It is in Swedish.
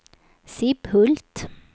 Sibbhult